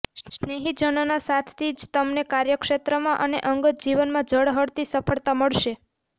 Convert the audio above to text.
સ્નેહીજનોના સાથથી જ તમને કાર્યક્ષેત્રમાં અને અંગત જીવનમાં ઝળહળતી સફળતા મળશે